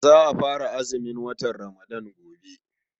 Za a fara azumin watan Ramadan gobe.